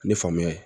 Ni famuya ye